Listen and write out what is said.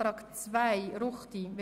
für Einzelsprecher/-innen – 2 Min.